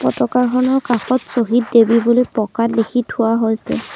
পতাকাখনৰ কাষত শ্বহীদ দেৱী বুলি পকাত লিখি থোৱা হৈছে।